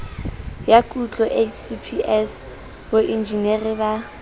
ya kutlo hcps boenjinere ba